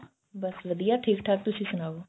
ਬੱਸ ਵਧੀਆਂ ਠੀਕ ਠਾਕ ਤੁਸੀਂ ਸੁਣਾਓ